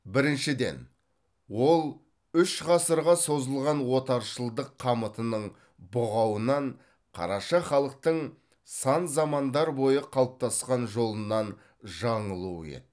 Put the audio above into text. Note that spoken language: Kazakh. біріншіден ол үш ғасырға созылған отаршылдық қамытының бұғауынан қараша халықтың сан замандар бойы қалыптасқан жолынан жаңылуы еді